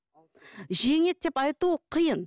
жеңеді деп айту қиын